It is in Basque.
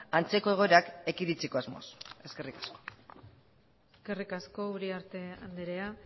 antzeko egoerak ekiditeko asmoz eskerrik asko eskerrik asko uriarte andrea